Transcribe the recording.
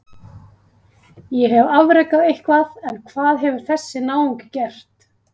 Ég hef afrekað eitthvað en hvað hefur þessi náungi gert?